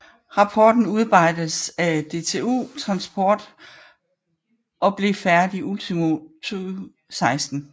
Rapporten udarbejdedes af DTU Transport og blev færdig ultimo 2016